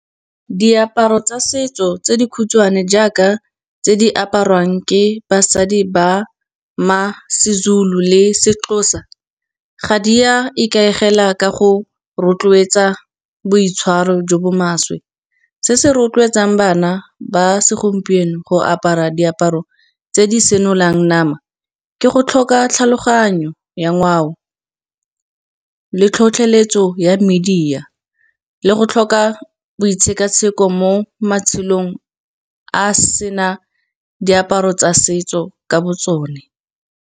Diaparo tsa setso tse di khutshwane jaaka tse di apariwang ke basadi ba ma seZulu le seXhosa, ga di a ikaegela ka go rotloetsa boitshwaro jo bo maswe. Se se rotloetsang bana ba segompieno go apara diaparo tse di senolang nama ke go tlhoka tlhaloganyo ya ngwao, le tlhotlheletso ya media le go tlhoka bo ditshekatsheko mo matshelong, a sena diaparo tsa setso ka bo tsone.